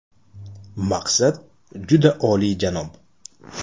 Maqsad – juda oliyjanob.